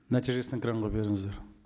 нәтижесін экранға беріңіздер